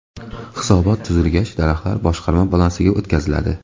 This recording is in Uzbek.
Hisobot tuzilgach, daraxtlar boshqarma balansiga o‘tkaziladi.